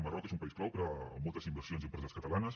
el marroc és un país clau per a moltes inversions i empreses catalanes